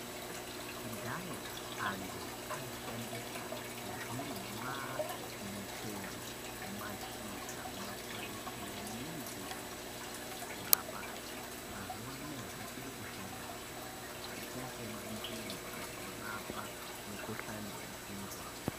Kudhaya antu aishandisa zvirimwa michero mashizha makwande nemidzi dzembuti kurapana. Mazuva anaya zvichiri kushandahe zvakaita semandimu anorapa mukuhlani vedzihwa.